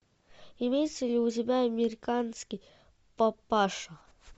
имеется ли у тебя американский папаша